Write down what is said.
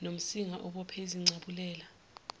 nomsinga obophe izincabulela